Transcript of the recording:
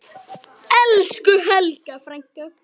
Elsku Helga frænka.